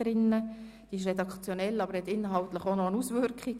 Sie ist redaktionell, hat aber eine inhaltliche Auswirkung.